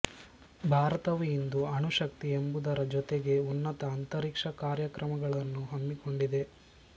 ಭಾರತವು ಇಂದು ಅಣುಶಕ್ತಿ ಎಂಬುದರ ಜೊತೆಗೇ ಉನ್ನತ ಅಂತರಿಕ್ಷ ಕಾರ್ಯಕ್ರಮಗಳನ್ನೂ ಹಮ್ಮಿಕೊಂಡಿದೆ